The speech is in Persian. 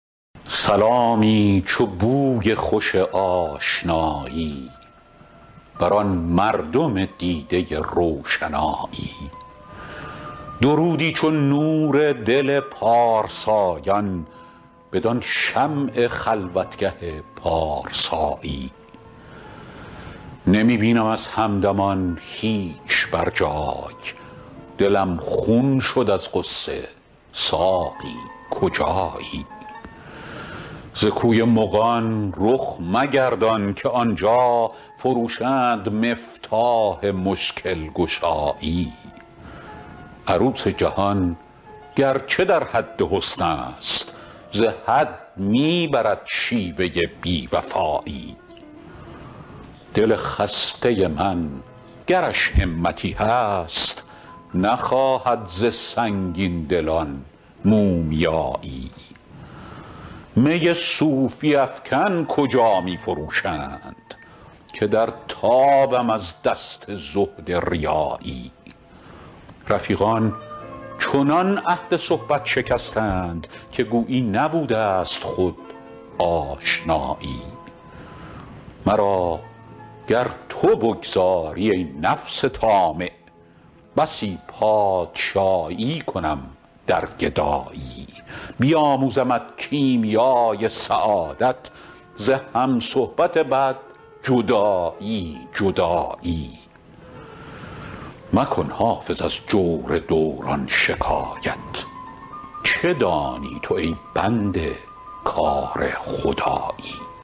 سلامی چو بوی خوش آشنایی بدان مردم دیده روشنایی درودی چو نور دل پارسایان بدان شمع خلوتگه پارسایی نمی بینم از همدمان هیچ بر جای دلم خون شد از غصه ساقی کجایی ز کوی مغان رخ مگردان که آن جا فروشند مفتاح مشکل گشایی عروس جهان گر چه در حد حسن است ز حد می برد شیوه بی وفایی دل خسته من گرش همتی هست نخواهد ز سنگین دلان مومیایی می صوفی افکن کجا می فروشند که در تابم از دست زهد ریایی رفیقان چنان عهد صحبت شکستند که گویی نبوده ست خود آشنایی مرا گر تو بگذاری, ای نفس طامع بسی پادشایی کنم در گدایی بیاموزمت کیمیای سعادت ز هم صحبت بد جدایی جدایی مکن حافظ از جور دوران شکایت چه دانی تو ای بنده کار خدایی